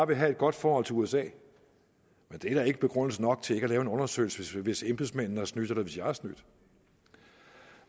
vil have et godt forhold til usa det er da ikke begrundelse nok til ikke at lave en undersøgelse hvis embedsmændene har snydt eller hvis jeg har snydt